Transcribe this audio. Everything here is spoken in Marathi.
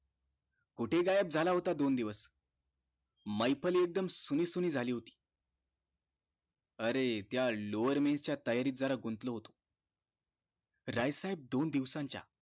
कुठे गायब झाला होता दोन दिवस मैफल एकदम सुनीसुनी झाली होती अरे त्या lower bear च्या तयारीत जरा गुंतलो होतो राय साहेब दोन दिवसांच्या